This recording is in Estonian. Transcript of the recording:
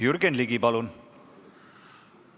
Jürgen Ligi, palun!